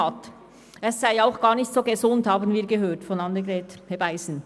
Wir haben von Grossrätin Annegret Hebeisen auch gehört, dass Palmöl gar nicht so gesund sei.